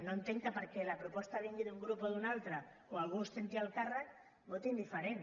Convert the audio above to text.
no entenc que perquè la proposta vingui d’un grup o d’un altre o algú exerceixi el càrrec votin diferent